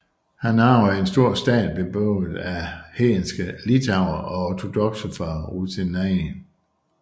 Han arvede en stor stat beboet af hedenske litauere og ortodokse fra Rutenien